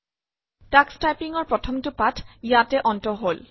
Tux টাইপিঙৰ প্ৰথমটো পাঠ ইয়াতে অন্ত হল